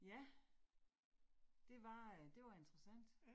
Ja. Det var øh det var interessant